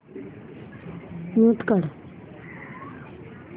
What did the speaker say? mute काढ